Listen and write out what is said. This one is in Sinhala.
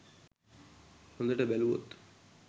හොදට බැලුවොත්.